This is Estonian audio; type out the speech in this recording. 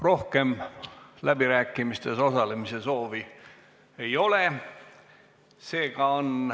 Rohkem läbirääkimistes osalemise soovi ei ole.